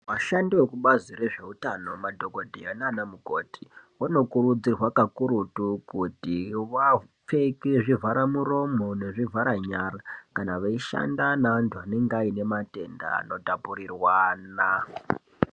Vashandi vekubazi rezveutano madhokodheya naana mukoti, vanokurudzirwa kakurutu kuti vapfeke zvivharamuromo nezvivharanyara kana veishanda neantu ane matenda anotapurirwana.